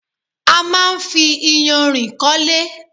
A máa ń fi iyanrìn kọ́lé.